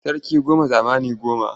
Sarki goma zamani goma.